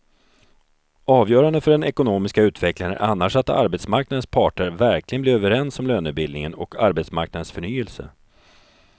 Avgörande för den ekonomiska utvecklingen är annars att arbetsmarknadens parter verkligen blir överens om lönebildningen och arbetsmarknadens förnyelse.